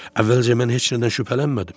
Əvvəlcə mən heç nədən şübhələnmədim.